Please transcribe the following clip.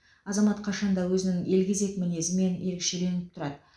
азамат қашанда өзінің елгезек мінезімен ерекшеленіп тұрады